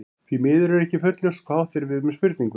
Því miður er ekki fullljóst hvað átt er við með spurningunni.